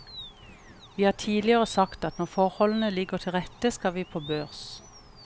Vi har tidligere sagt at når forholdene ligger til rette, skal vi på børs.